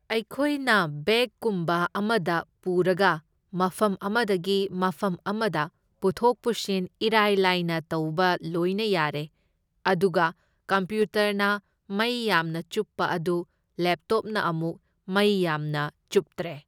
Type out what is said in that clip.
ꯑꯩꯈꯣꯏꯅ ꯕꯦꯒ ꯀꯨꯝꯕ ꯑꯃꯗ ꯄꯨꯔꯒ ꯃꯐꯝ ꯑꯃꯗꯒꯤ ꯃꯐꯝ ꯑꯃꯗ ꯄꯨꯊꯣꯛ ꯄꯨꯁꯤꯟ ꯏꯔꯥꯏ ꯂꯥꯏꯅ ꯇꯧꯕ ꯂꯣꯏꯅ ꯌꯥꯔꯦ, ꯑꯗꯨꯒ ꯀꯝꯄ꯭ꯌꯨꯇꯔꯅ ꯃꯩ ꯌꯥꯝꯅ ꯆꯨꯞꯄ ꯑꯗꯨ ꯂꯦꯞꯇꯣꯞꯅ ꯑꯃꯨꯛ ꯃꯩ ꯌꯥꯝꯅ ꯆꯨꯞꯇ꯭ꯔꯦ꯫